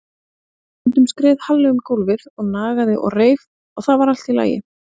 Stundum skreið Halli um gólfið og nagaði og reif og það var allt í lagi.